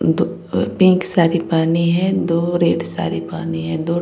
दो अ पिंक साड़ी पहनी है दो रेड साड़ी पहनी है दो --